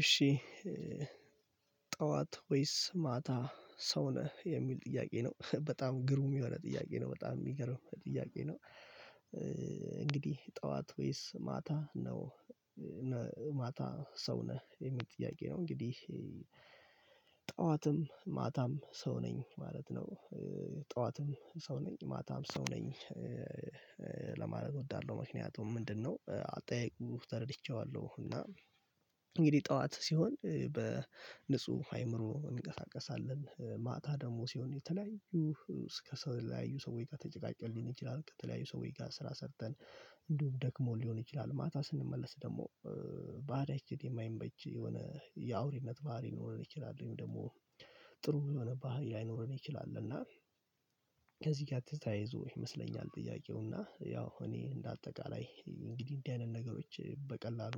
እሺ ጠዋት ወይስ ማታ ሰው ነህ የሚል ጥያቄ ነው በጣም ግሩም የሆነ ጥያቄ ነው በጣም የሚገርም ጥያቄ ነው? እንግዲህ ጠዋት ወይስ ማታ ነው? ማታ ሰው ነህ የሚል ጥያቄ ነው እንግዲህ ጠዋትም ማታም ሰው ነኝ ማለት ነው። ጠዋትም ሰው ነኝ ማታም ሰው ነኝ። ለማለት እወዳለሁ ምክንያቱም ምንድነው አጠያይቁ ተረድቼዋለሁ እና እንግዲህ ጠዋት ሲሆን በንጹህ አይምሮ እንቀሳቀሳለን ማታ ደግሞ ሲሆን የተለያዩ እስከ ሰው ላይ ሰውዬ ጋር ተጨቃጨቅልን ሊሆን ይችላል። ከተለያዩ ሰውዬ ጋር ስራ ሰርተን እንዲሁም ደክሞን ሊሆን ይችላል ማታ ስንመለስ ደግሞ ባዳ የማይመች የሆነ የአውሬነት ባህሪ ሊኖረን ይችላል ወይም ደግሞ ጥሩ የሆነ ባህሪ ላይኖረን ይችላል። እና ከዚህ ጋር ትዝታይዞ ይመስለኛል ጥያቄው እና ያው እኔ እንደ አጠቃላይ እንግዲህ እንደዚህ አይነት ነገሮች በቀላሉ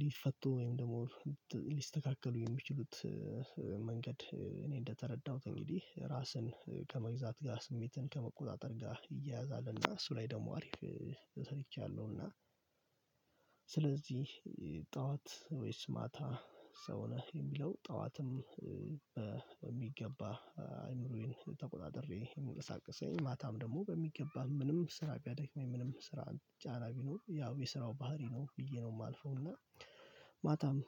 ሊፈቱ ወይም ደግሞ ሊስተካከሉ የሚችሉት መንገድ እኔ እንደተረዳሁት እንግዲህ ራስን ከመግዛት ጋር ስሜትን ከመቆጣጠር ጋር እሱ ላይ ደግሞ አሪፍ ሰርቻለሁና። ስለዚህ ጠዋት ወይስ ማታ ሰው ነህ የሚለው ጠዋትም በሚገባ አይምሮዬን ተቆጣጥሬ የምንቀሳቀሰኝ ማታም ደግሞ በሚገባን ምንም ስራ ቢያደክመኝ ምንም ስራን ጫና ቢኖር ያው የስራው ባህሪ ነው ብዬ ነው የማልፈው እና ማታም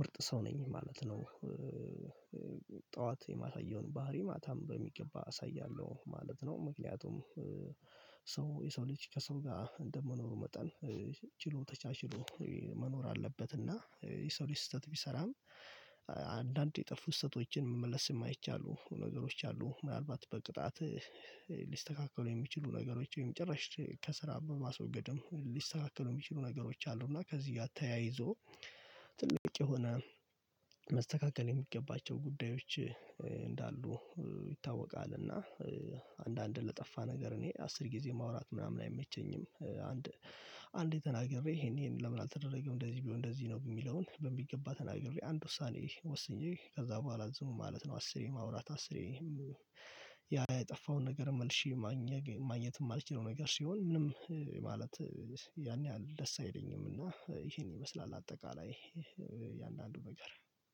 ምርጥ ሰው ነኝ ማለት ነው። ጠዋት የማሳየውን ባህሪ ማታም በሚገባ አሳያለሁ ማለት ነው። ምክንያቱም ሰው የሰው ልጅ ከሰው ጋር እንደመኖሩ መጠን ችሎ ተቻችሎ መኖር አለበት። እና የሰው ልጅ ስህተት ቢሰራም አንዳንዴ የጠፋ ስተቶችን መመለስ የማይቻሉ ነገሮች አሉ። ምናልባት በቅጣት ሊስተካከሉ የሚችሉ ነገሮች ወይም ጭርሽ ከስራ በማስወገድም ሊስተካከሉ የሚችሉ ነገሮች አሉ። እና ከዚህ ጋር ተያይዞ ትልቅ የሆነ መስተካከል የሚገባቸው ጉዳዮች እንዳሉ ይታወቃልና። አንዳንድን ለጠፋ ነገር እኔ አስር ጊዜ ማውራት ምናምን አይመቸኝም። አንድ አንዴ ተናግሬ ይሄን ይሄን ለምን አልተደረገም እንደዚህ ቢሆን እንደዚህ ነው የሚለውን በሚገባ ተናግሬ አንድ ውሳኔ ወስኜ ከዛ በኋላ ዝም ማለት ነው። አስሬ ማውራት አስሬ ያ የጠፋውን ነገር መልሼ ማግኘት አልችልም። ነገር ሲሆን ምንም ማለት ያን ያህል ደስ አይለኝም እና ይሄን ይመስላል አጠቃላይ የእያንዳንዱ ነገር።